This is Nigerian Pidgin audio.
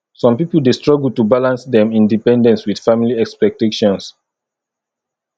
some pipo dey struggle to balance dem independence with family expectations